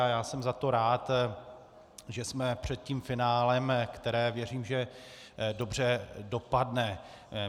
A já jsem za to rád, že jsme před tím finálem, které věřím, že dobře dopadne.